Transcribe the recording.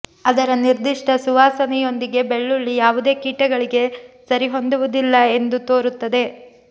ಅದರ ನಿರ್ದಿಷ್ಟ ಸುವಾಸನೆಯೊಂದಿಗೆ ಬೆಳ್ಳುಳ್ಳಿ ಯಾವುದೇ ಕೀಟಗಳಿಗೆ ಸರಿಹೊಂದುವುದಿಲ್ಲ ಎಂದು ತೋರುತ್ತದೆ